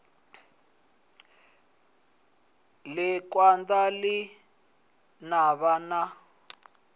ḽi kanda ḽa navha na